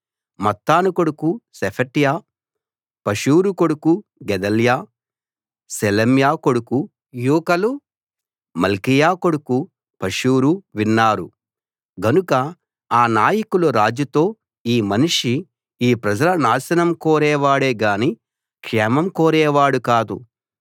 మత్తాను కొడుకు Shephatiah Pashhur కొడుకు Gedaliah Shelemiah కొడుకు యూకలు మల్కీయా కొడుకు పషూరు విన్నారు గనుక ఆ నాయకులు రాజుతో ఈ మనిషి ఈ ప్రజల నాశనం కోరేవాడేగాని క్షేమం కోరేవాడు కాదు